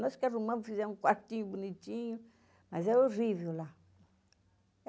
Nós que arrumamos, fizemos um quartinho bonitinho, mas era horrível lá.